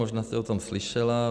Možná jste o tom slyšela.